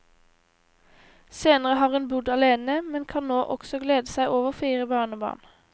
Senere har hun bodd alene, men kan nå også glede seg over fire barnebarn.